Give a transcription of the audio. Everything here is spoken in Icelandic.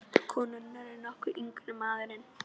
Konurnar eru nokkru yngri en maðurinn.